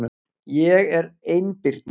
Ég er einbirni.